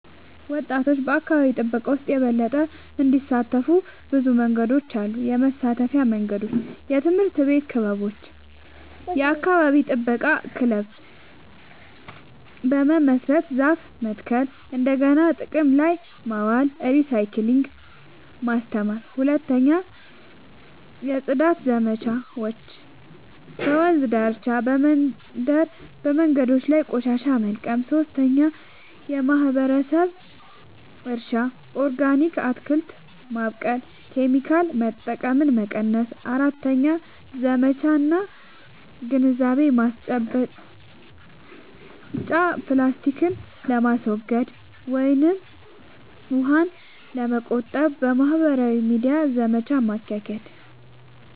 ወጣቶች በአካባቢ ጥበቃ ውስጥ የበለጠ እንዲሳተፉ ብዙ መንገዶች አሉ -የመሳተፊያ መንገዶች፦ 1. የትምህርት ቤት ክበቦች – የአካባቢ ጥበቃ ክለብ በመመስረት ዛፍ መትከል፣ እንደገና ጥቅም ላይ ማዋል (recycling) ማስተማር። 2. የጽዳት ዘመቻዎች – በወንዝ ዳርቻ፣ በመንደር መንገዶች ላይ ቆሻሻ መልቀም። 3. የማህበረሰብ እርሻ – ኦርጋኒክ አትክልት በማብቀል ኬሚካል መጠቀምን መቀነስ። 4. ዘመቻ እና ግንዛቤ ማስጨበጫ – ፕላስቲክን ለማስወገድ ወይም ውሃን ለመቆጠብ በማህበራዊ ሚዲያ ዘመቻ ማካሄድ።